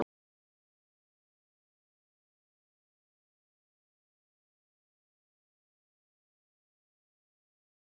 Blessuð sé minning Ólafs.